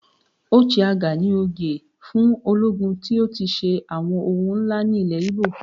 "Ochiagha" ni oyè fún ológun tí ó ti ṣe àwọn ohun ńlá ní ilẹ̀ Igbo.